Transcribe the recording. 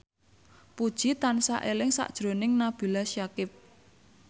Puji tansah eling sakjroning Nabila Syakieb